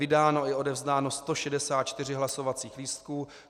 Vydáno i odevzdáno 164 hlasovacích lístků.